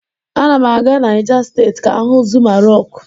A na m aga Naijà State ka m hu Zuma Rọku